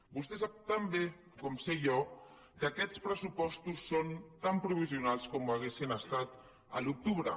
vostè sap tan bé com sé jo que aquests pressupostos són tan provisionals com ho haurien estat a l’octubre